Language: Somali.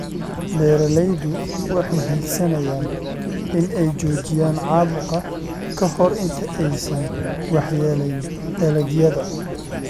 Beeraleydu waxay hiigsanayaan in ay joojiyaan caabuqa ka hor inta aysan waxyeeleyn dalagyada.